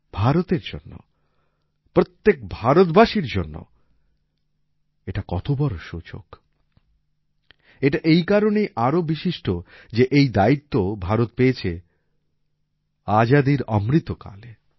ভারতের জন্য প্রত্যেক ভারতবাসীর জন্য এটা কত বড় সুযোগ এটা এই কারণেও আরও বিশিষ্ট যে এই দায়িত্ব ভারত পেয়েছে আজাদীর অমৃতকালে